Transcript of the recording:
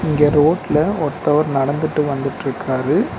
இங்க ரோட்ல ஒருத்தவர் நடந்துட்டு வந்துட்ருக்காரு.